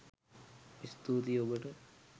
ස්තූතියි ඔබට